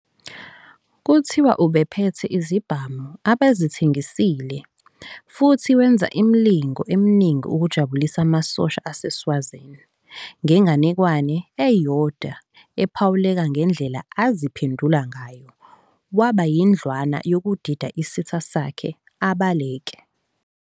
Kuthiwa ubephethe izibhamu abezithengisile, futhi wenza imilingo eminingi ukujabulisa amasosha aseSwazini ngenganekwane eyodwa ephawuleka ngendlela aziphendula ngayo waba yindlwana yokudida isitha sakhe abaleke.